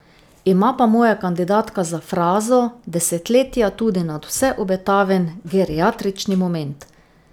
Ima pa moja kandidatka za frazo desetletja tudi nadvse obetaven geriatrični moment.